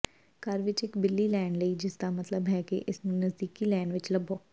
ਘਰ ਵਿੱਚ ਇੱਕ ਬਿੱਲੀ ਲੈਣ ਲਈ ਜਿਸਦਾ ਮਤਲਬ ਹੈ ਕਿ ਇਸਨੂੰ ਨਜ਼ਦੀਕੀ ਲੇਨ ਵਿੱਚ ਲੱਭੋ